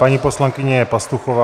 Paní poslankyně Pastuchová.